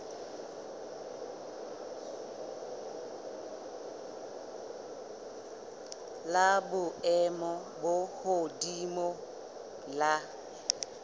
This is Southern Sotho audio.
la boemo bo hodimo la